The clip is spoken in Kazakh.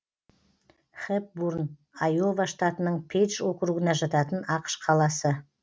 хэпбурн айова штатының пейдж округіне жататын ақш қаласы